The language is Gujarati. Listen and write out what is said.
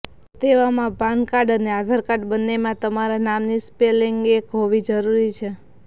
તો તેવામાં પાનકાર્ડ અને આધાર કાર્ડ બન્નેમાં તમારા નામની સ્પલિંગ એક હોવી જરૂરી છે